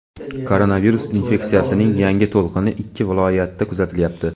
koronavirus infeksiyasining yangi to‘lqini ikki viloyatda kuzatilyapti.